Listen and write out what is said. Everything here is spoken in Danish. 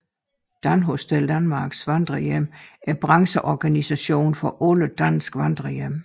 Danhostel Danmarks vandrerhjem er brancheorganisation for alle danske vandrerhjem